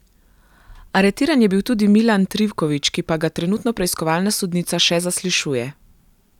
Aretiran je bil tudi Milan Trivković, ki pa ga trenutno preiskovalna sodnica še zaslišuje.